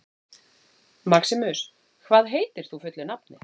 Maximus, hvað heitir þú fullu nafni?